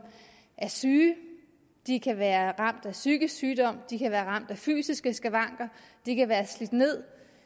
er syge de kan være ramt af psykisk sygdom de kan være ramt af fysiske skavanker de kan være slidt nederst